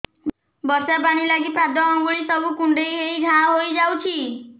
ବର୍ଷା ପାଣି ଲାଗି ପାଦ ଅଙ୍ଗୁଳି ସବୁ କୁଣ୍ଡେଇ ହେଇ ଘା ହୋଇଯାଉଛି